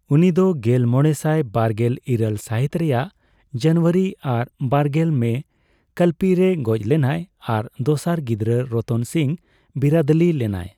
ᱩᱱᱤ ᱫᱚ ᱜᱮᱞᱢᱚᱲᱮᱥᱟᱭ ᱵᱟᱨᱜᱮᱞ ᱤᱨᱟᱹᱞ ᱥᱟᱹᱦᱤᱛ ᱨᱮᱨᱟᱜ ᱡᱟᱱᱩᱣᱟᱹᱨᱤ ᱟᱨ ᱵᱟᱨᱜᱮᱞ ᱢᱮ ᱠᱟᱞᱯᱤ ᱨᱮ ᱜᱚᱡᱽ ᱞᱮᱱᱟᱭ ᱟᱨ ᱫᱚᱥᱟᱨ ᱜᱤᱫᱽᱨᱟᱹ ᱨᱚᱛᱚᱱ ᱥᱤᱝ ᱵᱤᱨᱟᱹᱫᱟᱹᱞᱤ ᱞᱮᱱᱟᱭ ᱾